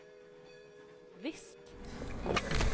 visst